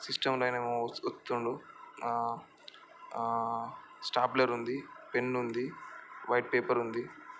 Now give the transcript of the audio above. System లో ఆయన ఏమో చుతుండు ఆ ఆ స్టాప్లర్ ఉంది పెన్ ఉంది వైట్ పేపర్ ఉంది.